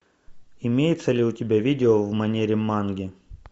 имеется ли у тебя видео в манере манги